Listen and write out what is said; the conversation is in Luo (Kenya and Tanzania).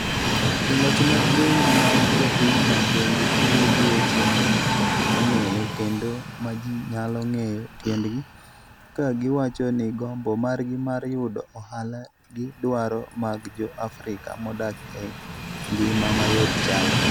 Joloch mag bengi ma jopinyno bende tiyo gi weche ma ji ok ong'eyo kendo ma ji nyalo ng'eyo tiendgi, ka giwacho ni gombo margi mar yudo ohala gi dwaro mag Jo - Afrika modak e ngima mayot, chalre.